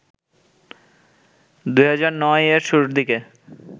২০০৯ এর শুরুর দিকে